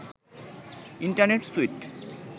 internet sweet